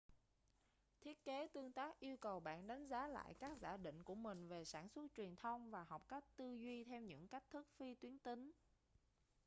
thiết kế tương tác yêu cầu bạn đánh giá lại các giả định của mình về sản xuất truyền thông và học cách tư duy theo những cách thức phi tuyến tính